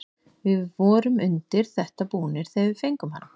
Við vorum undir þetta búnir þegar við fengum hann.